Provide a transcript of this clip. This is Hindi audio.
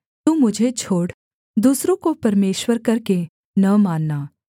तू मुझे छोड़ दूसरों को परमेश्वर करके न मानना